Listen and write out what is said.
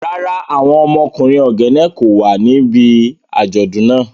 Rara, awọn ọmọkunrin Ogene ko wa nibi ajọdun naa.